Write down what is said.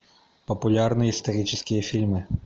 популярные исторические фильмы